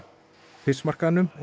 Fiskmarkaðnum og